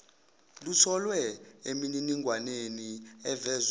lutholwe emininingwaneni evezwe